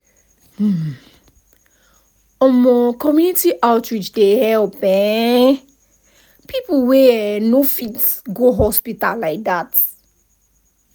hmm- um community outreach dey help um people wey eh no fit go hospital like that like that.